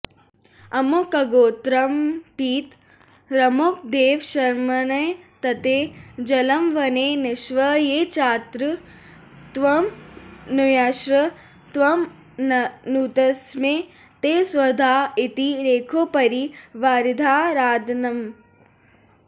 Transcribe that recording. अमुकगोत्रमत्पितरमुकदेवशर्मन्नेतत्ते जलमवनेनिक्ष्व ये चात्र त्वामनुयाश्च त्वामनुतस्मै ते स्वधा इति रेखोपरि वारिधारादानम्